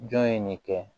Jɔn ye nin kɛ